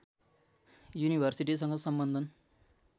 युनिभर्सिटीसँग सम्बन्धन